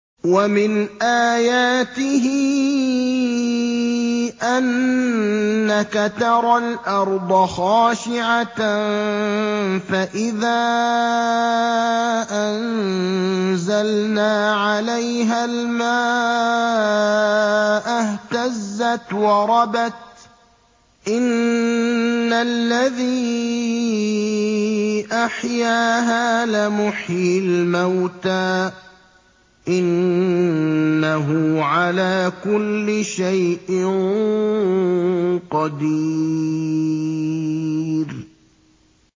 وَمِنْ آيَاتِهِ أَنَّكَ تَرَى الْأَرْضَ خَاشِعَةً فَإِذَا أَنزَلْنَا عَلَيْهَا الْمَاءَ اهْتَزَّتْ وَرَبَتْ ۚ إِنَّ الَّذِي أَحْيَاهَا لَمُحْيِي الْمَوْتَىٰ ۚ إِنَّهُ عَلَىٰ كُلِّ شَيْءٍ قَدِيرٌ